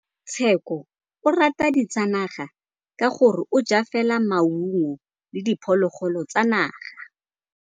Tshekô o rata ditsanaga ka gore o ja fela maungo le diphologolo tsa naga.